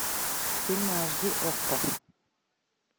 фильмы аш ди окко